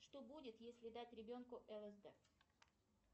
что будет если дать ребенку лсд